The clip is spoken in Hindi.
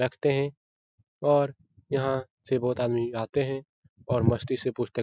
रखते हैं और यहाँ से बहुत आदमी आते हैं और मस्ती से पुस्तक --